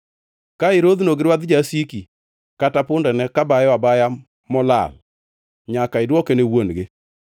“Ka irodhno gi rwadh jasiki kata pundane ka bayo abaya molal, nyaka idwoke ne wuon-gi.